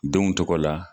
Denw tɔgɔ la